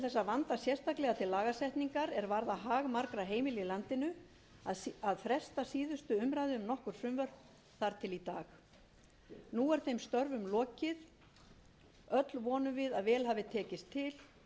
er varðar hag margra heimila í landinu að fresta síðustu umræðu um nokkur frumvörp þar til í dag nú er þeim störfum lokið öll vonum við að vel hafi til tekist og að létta